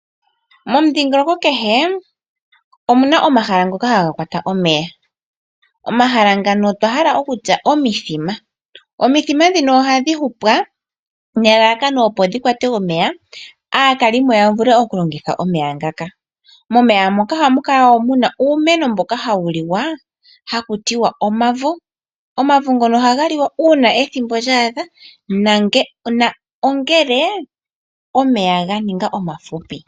Momudhingoloko kehe omuna omahala ngoka haga kwata omeya ngoka haga vulu oku longithwa kaantu yomomudhingoloko .Ohamu adhika woo omavo ngoka geholike kaantu ngele omeya ganingi omafupi